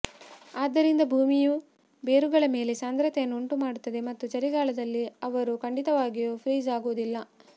ಆದ್ದರಿಂದ ಭೂಮಿಯು ಬೇರುಗಳ ಮೇಲೆ ಸಾಂದ್ರತೆಯನ್ನು ಉಂಟುಮಾಡುತ್ತದೆ ಮತ್ತು ಚಳಿಗಾಲದಲ್ಲಿ ಅವರು ಖಂಡಿತವಾಗಿಯೂ ಫ್ರೀಜ್ ಆಗುವುದಿಲ್ಲ